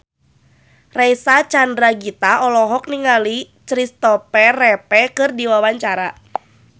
Reysa Chandragitta olohok ningali Christopher Reeve keur diwawancara